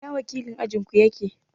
I na wakilin ajin ku yake?